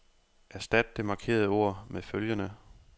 Erstat det markerede ord med følgende.